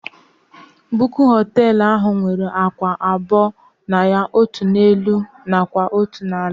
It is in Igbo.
Bunkụ hostelụ ahụ nwere ákwà abụọ na ya. Otú n'elu nakwa otu n'ala